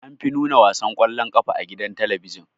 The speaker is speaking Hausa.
Anfi nuna wasan kwallon ƙafa a gidan talabijin.